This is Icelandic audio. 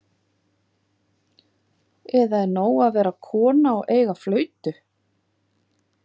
Eða er nóg að vera kona og eiga flautu?